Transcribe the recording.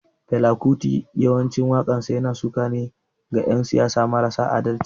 Fela kuti yawancin wakansa yana suka ne ga yan siyasan marasa adalci.